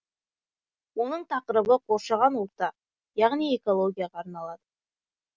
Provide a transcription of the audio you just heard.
оның тақырыбы қоршаған орта яғни экологияға арналады